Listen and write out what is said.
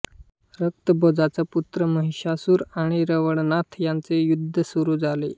रक्तभोजाचा पुत्र महिशासूर आणि रवळनाथ यांचे युद्ध सुरू झाले